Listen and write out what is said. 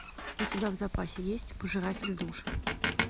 у тебя в запасе есть пожиратель душ